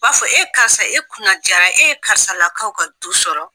b'a fɔ e karisa e kunna jara e ye karisa lakaw ka du sɔrɔ.